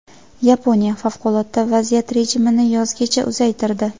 Yaponiya favqulodda vaziyat rejimini yozgacha uzaytirdi.